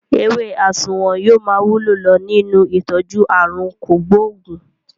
Ewé asunwun yóò máa wúlò lọ nínú ìtọ́jú àrùn kògbóògùn